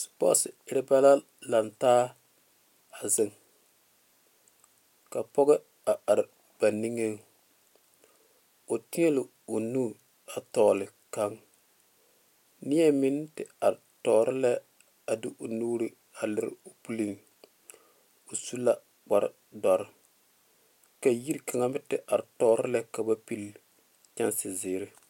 sepɔte erɛ bɛ la zeŋ laŋe taa ka pɔge are ba niŋe o taɛ la o nu a tole kaŋ neɛ meŋ are tuoro la a de o nu a lera o puoriŋ o su la kpaare dɔroŋ ka yiri kaŋ meŋ te are tore ka ba pele kyesezeɛ.